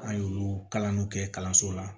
An y'olu kalan kɛ kalanso la